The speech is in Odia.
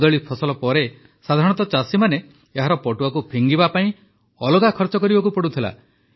କଦଳି ଫସଲ ପରେ ସାଧାରଣତଃ ଚାଷୀମାନେ ଏହାର ପଟୁଆକୁ ଫିଙ୍ଗିବା ପାଇଁ ଅଲଗା ଖର୍ଚ୍ଚ କରିବାକୁ ପଡ଼ୁଥିଲା